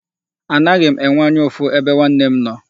Anaghị m enwe anya ụfụ ebe nwanne m nọ.